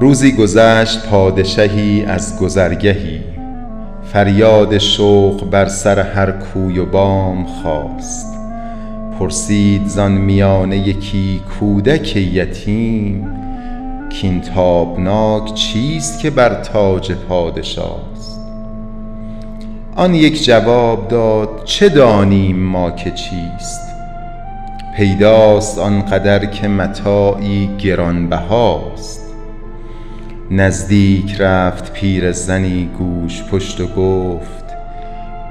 روزی گذشت پادشهی از گذرگهی فریاد شوق بر سر هر کوی و بام خاست پرسید زان میانه یکی کودک یتیم کاین تابناک چیست که بر تاج پادشاست آن یک جواب داد چه دانیم ما که چیست پیداست آنقدر که متاعی گرانبهاست نزدیک رفت پیرزنی گوژپشت و گفت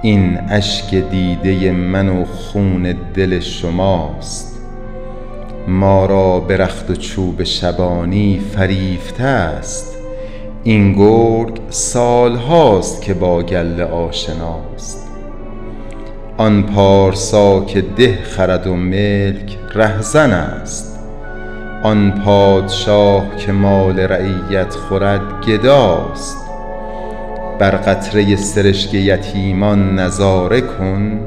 این اشک دیده من و خون دل شماست ما را به رخت و چوب شبانی فریفته است این گرگ سال هاست که با گله آشناست آن پارسا که ده خرد و ملک رهزن است آن پادشا که مال رعیت خورد گداست بر قطره سرشک یتیمان نظاره کن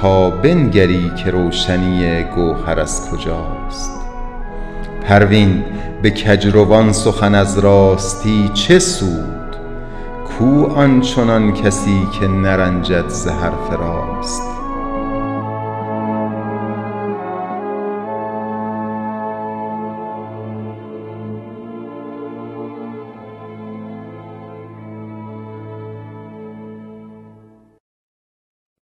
تا بنگری که روشنی گوهر از کجاست پروین به کجروان سخن از راستی چه سود کو آنچنان کسی که نرنجد ز حرف راست